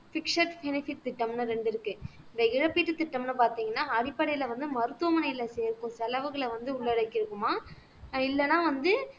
fixed இணைப்பு திட்டம்ன்னு ரெண்டு இருக்கு இந்த இழப்பீட்டு திட்டம்னு பார்த்தீங்கன்னா அடிப்படையில வந்து மருத்துவமனையில சேர்க்கும் செலவுகளை வந்து உள்ளாடக்கி இருக்குமாம் இல்லைன்னா வந்து